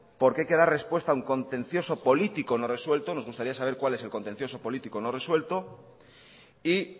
porque hay que dar respuesta a un contencioso político no resuelto nos gustaría saber cuál es el contencioso político no resuelto y